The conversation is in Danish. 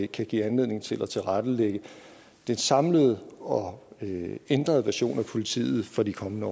kan give anledning til at tilrettelægge den samlede og ændrede version af politiet for de kommende